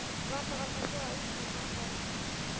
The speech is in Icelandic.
Varla var það svo að umsjón hans hefði hlíft henni?